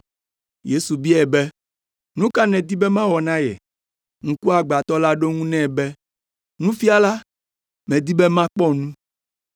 Yesu biae be, “Nu ka nèdi be mawɔ na ye?” Ŋkuagbãtɔ la ɖo eŋu nɛ be, “Nufiala, medi be makpɔ nu.”